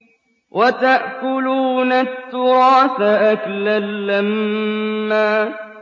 وَتَأْكُلُونَ التُّرَاثَ أَكْلًا لَّمًّا